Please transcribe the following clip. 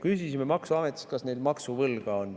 "Küsisime maksuametist, kas neil maksuvõlga on.